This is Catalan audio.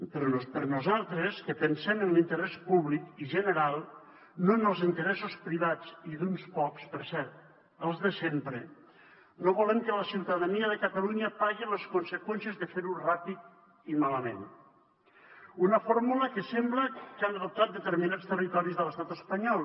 però nosaltres que pensem en l’interès públic i general no en els interessos privats i d’uns quants per cert els de sempre no volem que la ciutadania de catalunya pagui les conseqüències de fer ho ràpid i malament una fórmula que sembla que han adoptat determinats territoris de l’estat espanyol